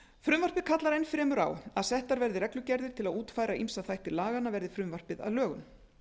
frumvarpið kallar enn fremur á að settar verði reglugerðir til að útfæra ýmsa þætti laganna verði frumvarpið að lögum